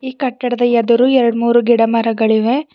ಈ ಕಟ್ಟಡದ ಎದುರು ಎರಡ್ಮೂರು ಗಿಡಮರಗಳಿವೆ.